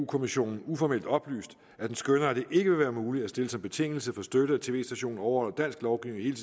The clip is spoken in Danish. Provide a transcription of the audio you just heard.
kommissionen uformelt oplyst at den skønner at det ikke vil være muligt at stille som betingelse for støtte at en tv station overholder dansk lovgivning i